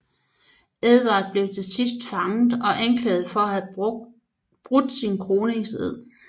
Edvard blev til sidst fanget og anklaget for at have brudt sin kroningsed